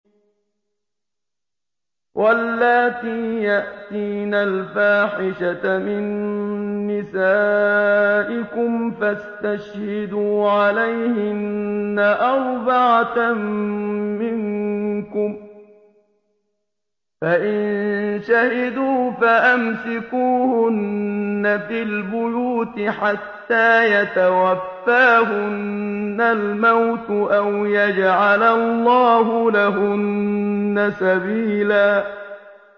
وَاللَّاتِي يَأْتِينَ الْفَاحِشَةَ مِن نِّسَائِكُمْ فَاسْتَشْهِدُوا عَلَيْهِنَّ أَرْبَعَةً مِّنكُمْ ۖ فَإِن شَهِدُوا فَأَمْسِكُوهُنَّ فِي الْبُيُوتِ حَتَّىٰ يَتَوَفَّاهُنَّ الْمَوْتُ أَوْ يَجْعَلَ اللَّهُ لَهُنَّ سَبِيلًا